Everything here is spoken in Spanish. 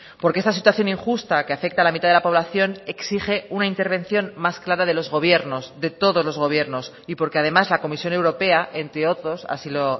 porque esta situación injusta que afecta a la mitad de la población exige una intervención más clara de los gobiernos de todos los gobiernos y porque además la comisión europea entre otros así lo